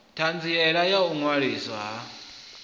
ṱhanziela ya u ṅwaliswa ha